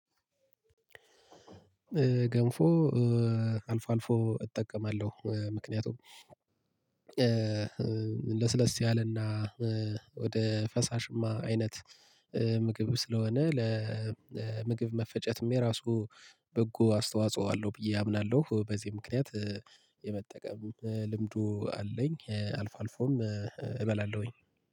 ገንፎ አልፎ አልፎ እጠቀማለሁ ምክንያቱም ለስለስ ያለና ወደ ፈሳሽማ አይነት ምግብ ስለሆነ ለምግብ መፈጨትም የራሱ በጎ አስተዋጽኦ አለው ብዬ አምናለሁ። በዚህ ምክንያት የመጠቀም ልምዱ አለኝ አልፎ አልፎም እበላለሁኝ